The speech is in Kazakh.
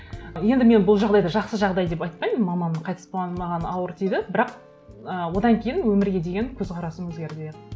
енді мен бұл жағдайды жақсы жағдай деп айтпаймын мамамның қайтыс болғаны маған ауыр тиді бірақ і одан кейін өмірге деген көзқарасым өзгерді иә